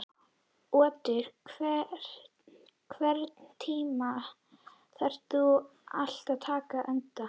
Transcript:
Otur, einhvern tímann þarf allt að taka enda.